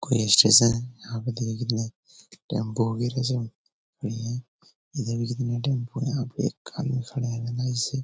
कोई स्टेशन यहाँ पे टेम्पो वगैरह सब भी है इधर भी जितने टेम्पो यहाँ पे एक आदमी खड़े है ना इसे --